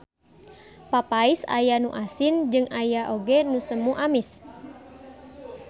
Papais aya nu asin jeung aya oge nu semu amis.